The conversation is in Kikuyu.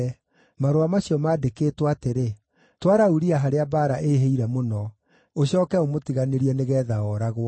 Marũa macio maandĩkĩtwo atĩrĩ, “Twara Uria harĩa mbaara ĩĩhĩire mũno. Ũcooke ũmũtiganĩrie nĩgeetha ooragwo.”